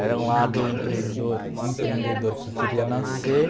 Era um lado emprendor empreendedor que queria nascer.